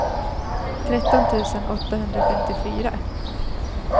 tretton tusen åttahundrafemtiofyra